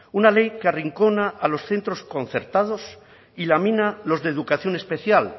una ley que arrincona a los centros concertados y lamina los de educación especial